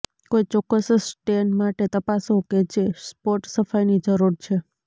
કોઈ ચોક્કસ સ્ટેન માટે તપાસો કે જે સ્પોટ સફાઈની જરૂર છે